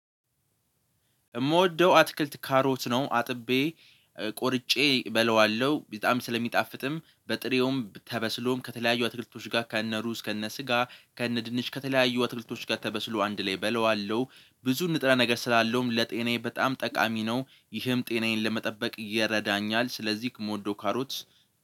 የምወደው አትክልት ካሮት ነው። አጥቤ ቆርጬ እበለዋለሁ በጣም ስለሚጣፍጥም በጥሬውም ተበስሎም ከተለያዩ አትክልቶች ጋር ከእነ ሩዝ ከእነ ስጋ ከእነ ድንች ከተለያዩ አትክልቶች ጋር ተበስሎ አንድ ላይ እበለዋለሁ ብዙ ንጥረ ነገር ስላለውም ለጤናዬ በጣም ጠቃሚ ነው ይህም ጤናዬን ለመጠበቅ ይረዳኛል። ስለዚህ ከምወደው ካሮት